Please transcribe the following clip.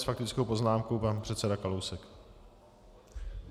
S faktickou poznámkou pan předseda Kalousek.